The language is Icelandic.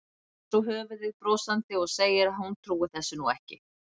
Hristir svo höfuðið brosandi og segir að hún trúi þessu nú ekki.